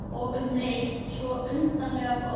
Og um leið svo undarlega gott.